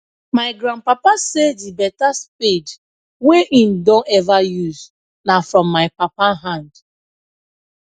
my grand papa say the beta spade wey him don ever use na from my papa hand